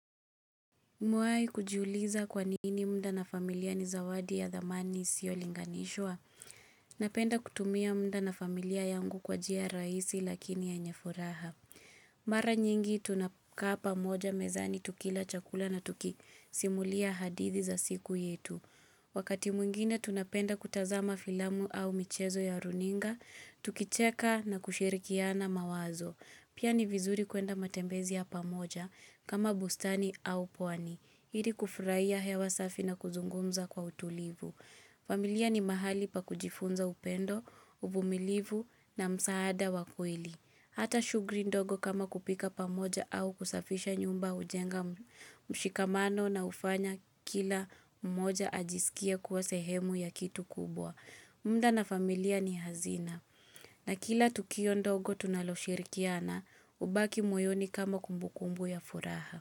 Umewai kujuliza kwa nini mda na familia ni zawadi ya thamani isiyo linganishwa. Napenda kutumia mda na familia yangu kwa jia raisi lakini yenye furaha. Mara nyingi tunakaa pamoja mezani tukila chakula na tukisimulia hadithi za siku yetu. Wakati mwingine tunapenda kutazama filamu au michezo ya runinga, tukicheka na kushirikiana mawazo. Pia ni vizuri kuenda matembezi ya pamoja kama bustani au pwani. Hiri kufuraiya hewa safi na kuzungumza kwa utulivu. Familia ni mahali pa kujifunza upendo, uvumilivu na msaada wa kweli. Hata shugri ndogo kama kupika pamoja au kusafisha nyumba ujenga mshikamano na ufanya kila mmoja ajisikie kuwa sehemu ya kitu kubwa. Mda na familia ni hazina. Na kila tukio ndogo tunaloshirikiana ubaki moyoni kama kumbukumbu ya furaha.